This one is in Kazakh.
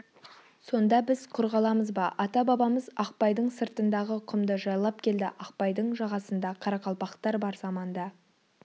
сонда біз құр қаламыз ба ата-бабамыз ақпайдың сыртындағы құмды жайлап келді ақпайдың жағасында қарақалпақтар бар заманда